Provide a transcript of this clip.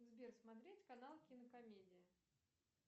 сбер смотреть канал кинокомедия